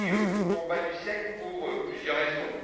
Oui, le combat du siècle, pour plusieurs raisons.